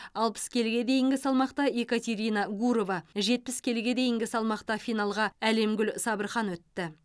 алпыс келіге дейінгі салмақта екатерина гурова жетпіс келіге дейінгі салмақта финалға алемгуль сабырхан өтті